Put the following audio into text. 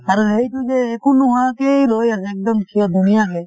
আৰু সেইটো যে একো নোহোৱাকেই ৰৈ আছে একদম থিয় ধুনীয়াকে